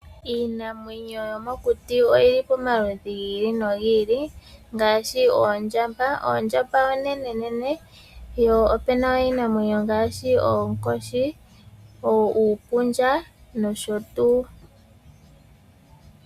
Iinamwenyo yomokuti oyili pomaludhi giilinogiili, ngaashi oondjamba, ondjamba onenenene, yo opena iinamwenyo ngashi oonkoshi, uupundja nosho tuu